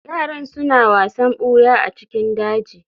yaran suna wasan buya a cikin daji